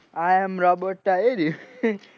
i am robot star એર્યું